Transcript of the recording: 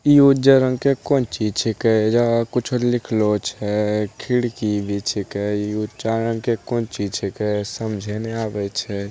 इ उज्जर रंग के कोचि छिकै जहा कुछो लिखलो छै खिड़की भी छिकै इ उच्च रंग के कोचि छिकै समझे नई आवइ छई।